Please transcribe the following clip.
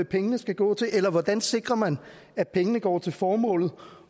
pengene skal gå til eller hvordan sikrer man at pengene går til formålet